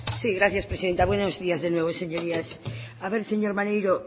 sí gracias presidenta buenos días de nuevo señorías a ver señor maneiro